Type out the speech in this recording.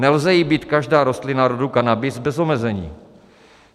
Nelze jí být každá rostlina rodu Cannabis bez omezení.